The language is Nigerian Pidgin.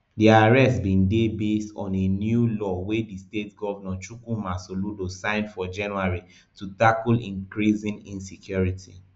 dia arrest bin dey based on a new law wey di state govnor chukwuma soludo sign for january to tackle increasing insecurity